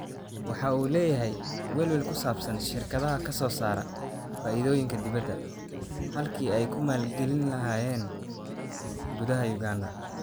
Waxa uu leeyahay welwel ku saabsan shirkadaha ka soo saara faa'iidooyin dibadda, halkii ay ku maalgelin lahaayeen gudaha Uganda.